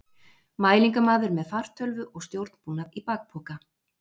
Mælingamaður með fartölvu og stjórnbúnað í bakpoka.